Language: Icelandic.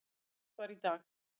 sem birt var í dag.